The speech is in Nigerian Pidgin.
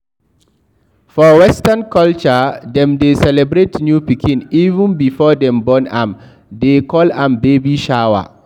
For western culture dem dey celebrate new pikin even before dem born am they call am baby shower